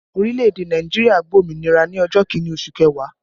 Orílẹ̀ èdè Nàìjíríà gba òmìnira ọjọ́ Kínní oṣù kẹwàá